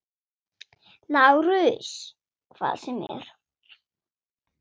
LÁRUS: Hvað sem er.